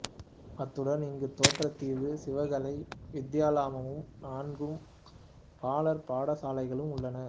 அத்துடன் இங்கு தேற்றாத்தீவு சிவகலை வித்தியாலயமும் நான்கு பாலர் பாடசாலைகளும் உள்ளன